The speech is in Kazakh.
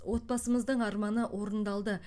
отбасымыздың арманы орындалды